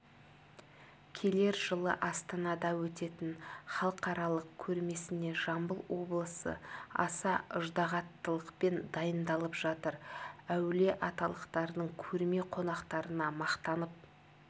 келер жылы астанада өтетін халықаралық көрмесіне жамбыл облысы аса ыждағаттылықпен дайындалып жатыр әулиеаталықтардың көрме қонақтарына мақтанып